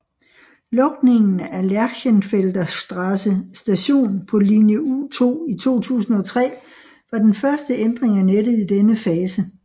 Lukningen af Lerchenfelder Straße station på linje U2 i 2003 var den første ændring af nettet i denne fase